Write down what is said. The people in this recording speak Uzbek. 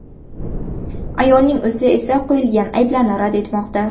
Ayolning o‘zi esa qo‘yilgan ayblarni rad etmoqda.